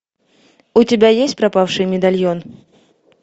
у тебя есть пропавший медальон